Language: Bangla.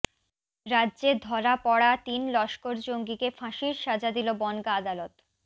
রাজ্যে ধরা পড়া তিন লস্কর জঙ্গিকে ফাঁসির সাজা দিল বনগাঁ আদালত